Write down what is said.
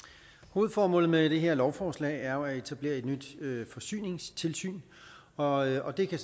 hovedformålet med det her lovforslag er jo at etablere et nyt forsyningstilsyn og og det kan